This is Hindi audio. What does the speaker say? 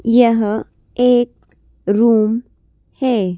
यह एक रूम है।